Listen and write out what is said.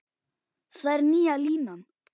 Það er nýja línan.